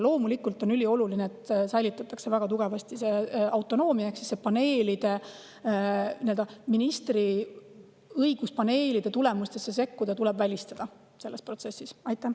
Loomulikult on ülioluline, et säilitatakse väga tugev autonoomia, ehk ministri õigus paneelide tulemustesse sekkuda tuleb selles protsessis välistada.